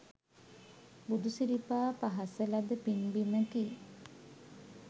බුදුසිරිපා පහසලද පින් බිමකි.